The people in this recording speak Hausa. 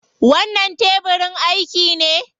Wannan tebirin aiki ne?